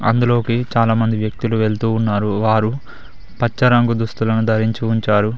అందులోకి చాలా మంది వ్యక్తులు వెళ్తూ ఉన్నారు వారు పచ్చ రంగు దుస్తులను ధరించి ఉంచారు.